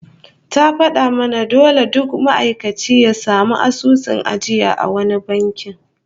Ta fada mana dole duk ma'aikaci ya samu asusun ajiya a wani banki